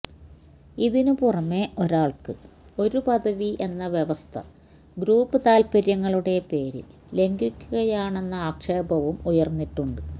ഇതിന് പുറമെ ഒരാൾക്ക് ഒരു പദവി എന്ന വ്യവസ്ഥ ഗ്രൂപ്പ് താത്പര്യങ്ങളുടെ പേരിൽ ലംഘിക്കുകയാണെന്ന ആക്ഷേപവും ഉയർന്നിട്ടുണ്ട്